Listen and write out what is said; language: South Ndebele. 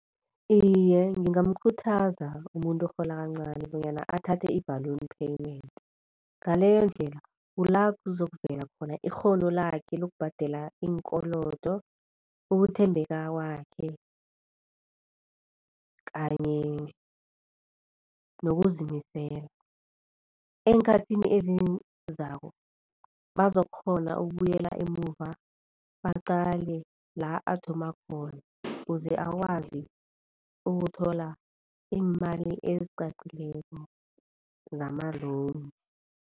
Iye ngingamkhuthaza umuntu orhola kancani bonyana athathe i-balloon payment. Ngaleyondlela kula kuzokuvela khona ikghono lakhe lokubhadela iinkolodo, ukuthembeka kwakhe kanye nokuzimisela. Eenkhathini ezizako bazokukghona ukubuyela emuva baqale la athoma khona kuze akwazi ukuthola iimali eziqaqileko zama-loan.